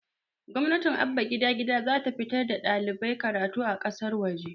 gwamnatin abba gida gida zata fitar da ɗalibai karatu a ƙasar waje